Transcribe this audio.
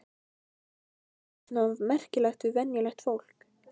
En hvað er svona merkilegt við venjulegt fólk?